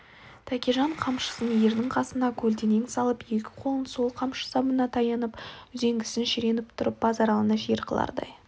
тәкежан қамшысын ердің қасына көлденең салып екі қолын сол қамшы сабына таянып үзеңгісін шіреніп тұрып базаралыны жер қылардай